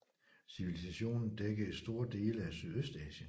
Civilisationen dækkede store dele af Sydøstasien